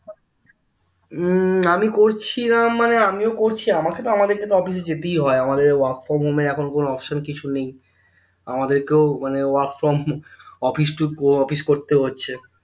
উহ আমি করছিলাম মানে আমিও করছি আমাকে তো আমাদের অফিসে যেতেই হয় আমাদের work from home এর এখন কোনো option কিছু নেই আমাদেরকেও মানে work from office তো office করতে হচ্ছে